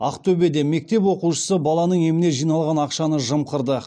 ақтөбеде мектеп оқушысы баланың еміне жиналған ақшаны жымқырды